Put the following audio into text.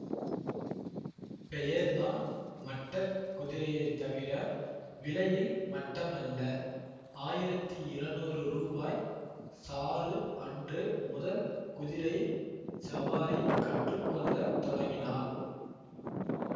பெயர் தான் மட்ட குதிரையே தவிர விலையில் மட்டமல்ல ஆயிரத்தி இரநூறு ரூபாய் சாரு அன்று முதல் குதிரைச் சவாரி கற்றுக்கொள்ளத் தொடங்கினாள்